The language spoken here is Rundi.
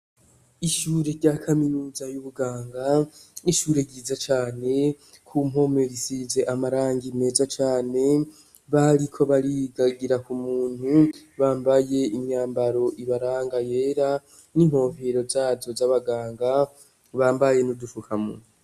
Ishure rya kaminuza y'ubuganga ishure ryiza cane ku mpomerisize amarangi neza Cane bari ko barigagira ku muntu bambaye imyambaro ibaranga yera n'inpovero zazo z'abaganga bambaye nudufukamunwa.